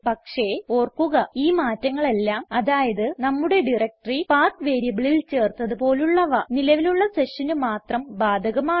പക്ഷേ ഓർക്കുക ഈ മാറ്റങ്ങളെല്ലാം അതായത് നമ്മുടെ ഡയറക്ടറി പത്ത് വേരിയബിളിൽ ചേർത്തത് പോലുള്ളവ നിലവിലുള്ള sessionന് മാത്രം ബാധകമാണ്